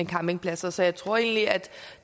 campingpladser så jeg tror egentlig at